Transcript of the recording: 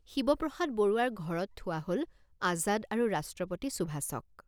শিৱপ্ৰসাদ বৰুৱাৰ ঘৰত থোৱা হল আজাদ আৰু ৰাষ্ট্ৰপতি সুভাষক।